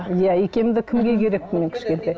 иә икемді кімге керекпін мен кішкентай